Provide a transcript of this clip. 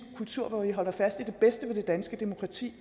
kultur hvor vi holder fast i det bedste ved det danske demokrati